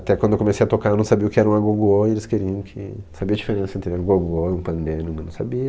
Até quando eu comecei a tocar, eu não sabia o que era um agogô e eles queriam que... Saber a diferença entre agogô e um pandeiro, mas eu não sabia.